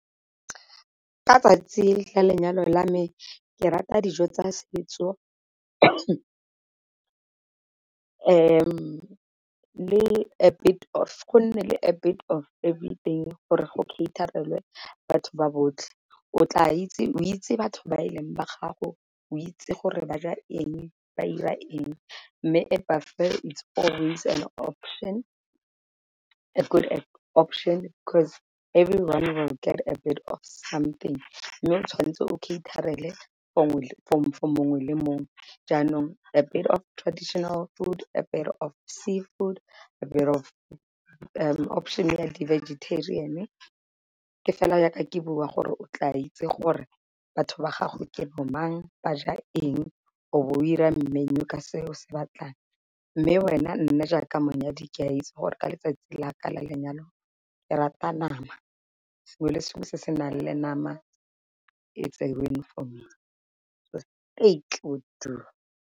Ka 'tsatsi la lenyalo la me ke rata dijo tsa setso go nne le a bit everything gore go cater-elwe batho ba botlhe o tla itse o itse batho ba e leng ba gago o itse gore ba ja eng ba 'ira eng, mme a buffet is always an option a good option 'cause everyone will get a bit of something mme o tshwanetse o cater-ele for mongwe le mongwe. Jaanong a bit of traditional food, a bit of sea food, a bit of option ya di-vegetarian-e. Ke fela yaka ke bua gore o tla itse gore batho ba gago ke bo mang, ba ja eng, o bo o ira menu ka se o se batlang, mme wena nna jaaka monyadi ke a itse gore ka letsatsi la ka la lenyalo ke rata nama sengwe le sengwe se se nang le nama it's a win for me .